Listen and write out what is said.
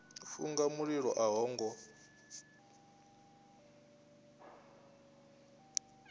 funga mililo a ho ngo